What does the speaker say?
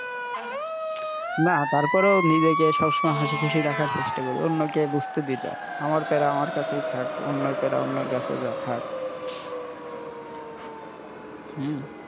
না তারপরেই নিজেকে হাশিখুশি সবসময় রাখার চেষ্টা করি অন্যকে বুঝতে দেইনা আমার প্যারা আমার কাছেই থাক অন্যের প্যারা অন্যের কাছে থাক, হম